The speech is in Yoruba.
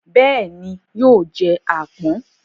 Bẹ́ẹ̀ ni, yóò jẹ àpọ̀n.